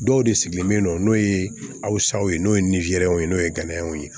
Dɔw de sigilen be yen nɔ n'o ye asaw ye n'o ye nizeriyaw ye n'o ye ganw ye